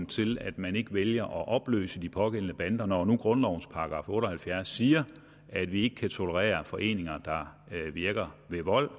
til at man ikke vælger at opløse de pågældende bander når nu grundlovens § otte og halvfjerds siger at vi ikke kan tolerere foreninger der virker ved vold